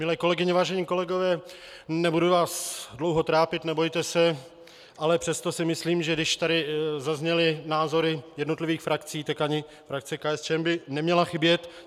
Milé kolegyně, vážení kolegové, nebudu vás dlouho trápit, nebojte se, ale přesto si myslím, že když tady zazněly názory jednotlivých frakcí, tak ani frakce KSČM by neměla chybět.